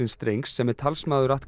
strengs sem er talsmaður